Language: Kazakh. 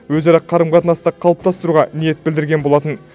өзара қарым қатынасты қалыптастыруға ниет білдірген болатын